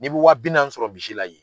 N'i b'i wa bi naani sɔrɔ misi la ye